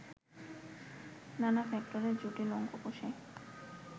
নানা ফ্যাক্টরের জটিল অঙ্ক কষে